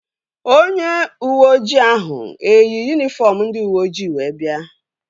Onye uweojii ahụ eyi yunifọm ndị uweoji wee bịa?